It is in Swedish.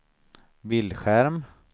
bildskärm